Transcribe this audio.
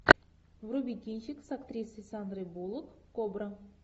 вруби кинчик с актрисой сандрой буллок кобра